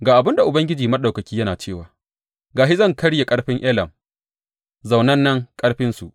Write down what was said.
Ga abin da Ubangiji Maɗaukaki yana cewa, Ga shi, zan karye ƙarfin Elam, zaunannen ƙarfinsu.